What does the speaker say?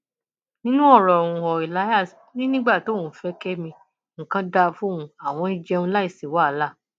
nínú ọrọ uhuo elias ò ní nígbà tóun fẹ kẹmi nǹkan dáa fóun àwọn ń jẹun láì sí wàhálà